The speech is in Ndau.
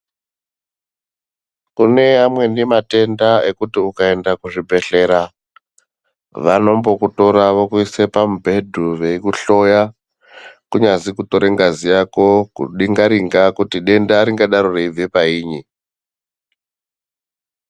Kune amweni matenda ekuti ukaenda kuzvibhedhlera vanombokutora vokuise pamubhedhu veikuhloya. Kunyazi kutore ngazi yako kudinga-ringa kuti denda ringadaro reibve painyi